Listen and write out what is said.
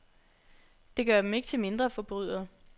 Det gør dem ikke til mindre forbrydere.